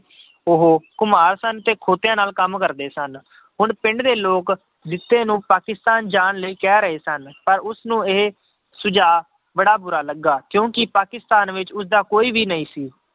ਉਹ ਘੁਮਾਰ ਸਨ ਤੇ ਖੋਤਿਆਂ ਨਾਲ ਕੰਮ ਕਰਦੇ ਸਨ, ਹੁਣ ਪਿੰਡ ਦੇ ਲੋਕ ਜਿੱਤੇ ਨੂੰ ਪਾਕਿਸਤਾਨ ਜਾਣ ਲਈ ਕਹਿ ਰਹੇ ਸਨ ਪਰ ਉਸਨੂੰ ਇਹ ਸੁਝਾਅ ਬੜਾ ਬੁਰਾ ਲੱਗਾ ਕਿਉਂਕਿ ਪਾਕਿਸਤਾਨ ਵਿੱਚ ਉਸਦਾ ਕੋਈ ਵੀ ਨਹੀਂ ਸੀ